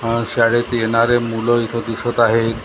अ शाळेत येणारे मूलं इथं दिसत आहेत .